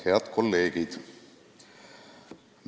Head kolleegid!